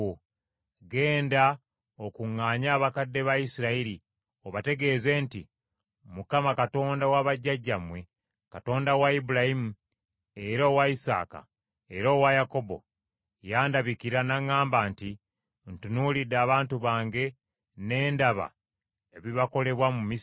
“Genda okuŋŋaanye abakadde ba Isirayiri, obategeeze nti, ‘ Mukama , Katonda wa bajjajjammwe, Katonda wa Ibulayimu, era owa Isaaka, era owa Yakobo, yandabikira, n’aŋŋamba nti, Ntunuulidde abantu bange, ne ndaba ebibakolebwa mu Misiri.